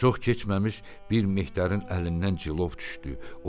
Çox keçməmiş bir mehdərin əlindən cilov düşdü.